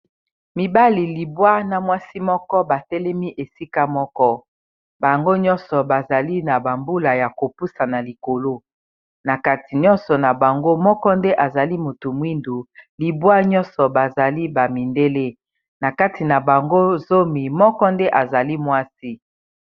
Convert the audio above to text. Mibali libwa na mwasi moko batelemi esika moko bango nyonso bazali na bambula ya kopusa na likolo na kati nyonso na bango moko nde azali motu mwindu libwa nyonso bazali bamindele na kati na bango zomi moko nde azali mwasi.